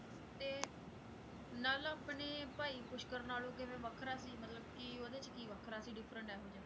ਤੇ ਨਲ ਆਪਣੇ ਭਾਈ ਪੁਸ਼ਕਰ ਨਾਲੋਂ ਕਿਵੇਂ ਵੱਖਰਾ ਸੀ ਮਤਲਬ ਕਿ ਉਹਦੇ 'ਚ ਕੀ ਵੱਖਰਾ ਸੀ different ਇਹੋ ਜਿਹਾ?